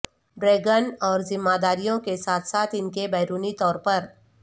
dragon اور ذمہ داریوں کے ساتھ ساتھ ان کے بیرونی طور پر